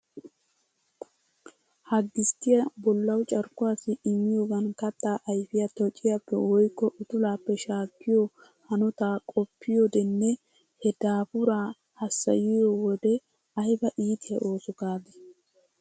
Ha gisttiya bollawu carkkuwassi immiyogan kattaa ayfiya tociyappe woykko utulaappe shaakkiyo hanotaa qoppiyodenne he daafuraa hassayiyo wode aybaa iitiya ooso gaadii.